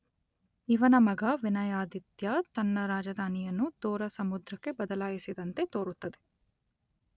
ಇವನ ಮಗ ವಿನಯಾದಿತ್ಯ ತನ್ನ ರಾಜಧಾನಿಯನ್ನು ದೋರ ಸಮುದ್ರಕ್ಕೆ ಬದಲಾಯಿಸಿದಂತೆ ತೋರುತ್ತದೆ.